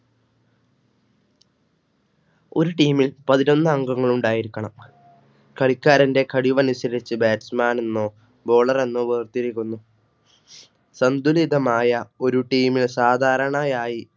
ഒരു Team ൽപതിനൊന്ന് അംഗങ്ങൾ ഉണ്ടായിരിക്കണം. കളിക്കാരന്റെ കഴിവ് അനുസരിച്ച് Batchman എന്നോ Bowler എന്നോ വേർതിരിവൊന്നും സന്തുലിതമായ ഒരു Team ൽ സാധാരണയായി